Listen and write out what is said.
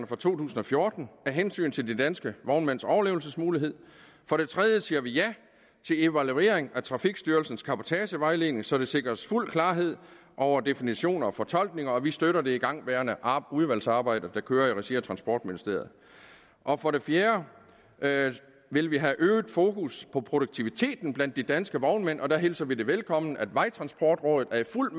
fra to tusind og fjorten af hensyn til de danske vognmænds overlevelsesmuligheder for det tredje siger vi ja til evaluering af trafikstyrelsens cabotagevejledning så der sikres fuld klarhed over definitioner og fortolkninger og vi støtter det igangværende udvalgsarbejde der kører i regi af transportministeriet for det fjerde vil vi have øget fokus på produktiviteten blandt de danske vognmænd og der hilser vi det velkommen at vejtransportrådet er i fuld